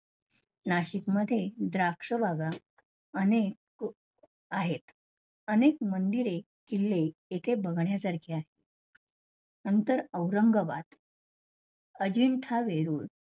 नाशिकमध्ये द्राक्ष बागा, अनेक आहेत, अनेक मंदिरे, किल्ले येथे बघण्यासारखे आहे. नंतर औरंगाबाद, अजिंठा वेरूळ